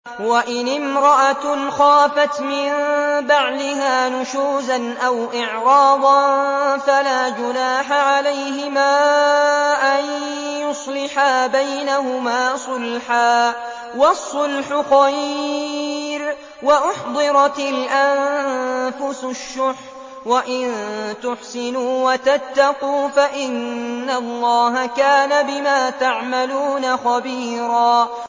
وَإِنِ امْرَأَةٌ خَافَتْ مِن بَعْلِهَا نُشُوزًا أَوْ إِعْرَاضًا فَلَا جُنَاحَ عَلَيْهِمَا أَن يُصْلِحَا بَيْنَهُمَا صُلْحًا ۚ وَالصُّلْحُ خَيْرٌ ۗ وَأُحْضِرَتِ الْأَنفُسُ الشُّحَّ ۚ وَإِن تُحْسِنُوا وَتَتَّقُوا فَإِنَّ اللَّهَ كَانَ بِمَا تَعْمَلُونَ خَبِيرًا